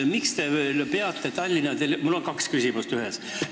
Mul on kaks küsimust ühes.